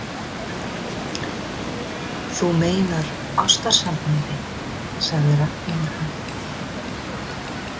Þú meinar ástarsambandi, sagði Ragnheiður hægt.